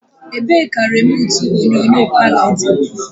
Ebee ka remootu tivii palo dị?